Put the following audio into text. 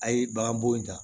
A' ye bagan bo in ta